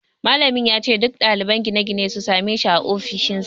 Malamin ya ce duk ɗaliban gine-gine su same shi a ofishinsa